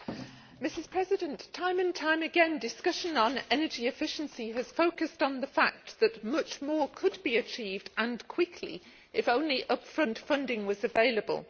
Madam President, time and time again discussion on energy efficiency has focused on the fact that much more could be achieved and quickly if only up front funding was available.